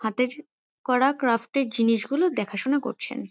হাতের করা ক্র্যাফট -এর জিনিসগুলো দেখাশোনা করছেন।